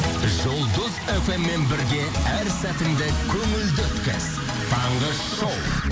жұлдыз фм мен бірге әр сәтіңді көңілді өткіз таңғы шоу